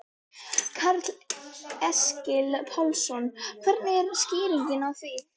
Karl Eskil Pálsson: Hver er skýringin á því?